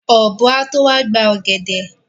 Ọ̀bọ́ á tó wá gba ọ̀gẹ̀dẹ̀.